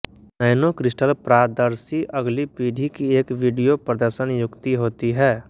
nanocrystal प्रादर्शी अगली पीढ़ी की एक वीडियो प्रदर्शन युक्ति होती है